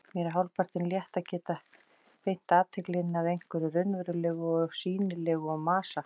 Mér er hálfpartinn létt að geta beint athyglinni að einhverju raunverulegu og sýnilegu og masa